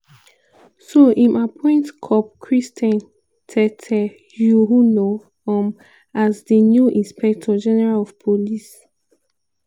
so im appoint cop christian tetteh yohuno um as di new inspector general of police (igp).